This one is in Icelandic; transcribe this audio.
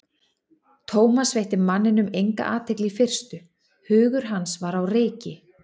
Thomas veitti manninum enga athygli í fyrstu, hugur hans var á reiki.